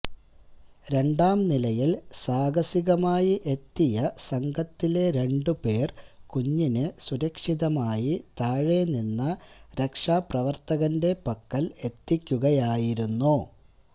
രണ്ടാംനിലയില് സാഹസികമായി എത്തിയ സംഘത്തിലെ രണ്ടുപേര് കുഞ്ഞിനെ സുരക്ഷിതമായി താഴെ നിന്ന രക്ഷാപ്രവര്ത്തകന്റെ പക്കല് എത്തിക്കുകയായിരുന്നു